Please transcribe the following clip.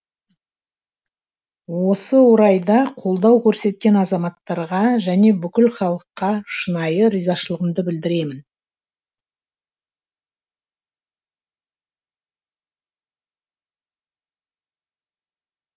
осы орайда қолдау көрсеткен азаматтарға және бүкіл халыққа шынайы ризашылығымды білдіремін